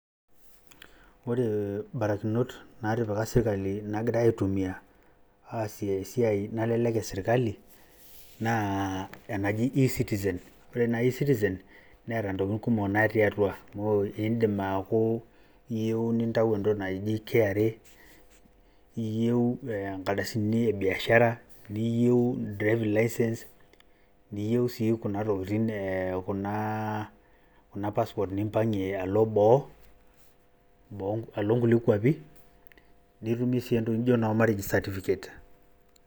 Ore barakinot naatipikA sirkali naagirai aitumia aasie esiai nalelek e sirkali naa enaji E-citizen [cs.Ore naa E-citizen neeta ntokitin kumok natii atua, amu idim aaku iyieu nintayu entoki naji KRA iyieu nkardasini e biashara niyieu driving licence. Niyieu sii kuna tokitin kuna aa passport nimpang`ie alo boo, boo alo nkulie kuapi. Nitumie sii entoki naijo noo marriage certificate.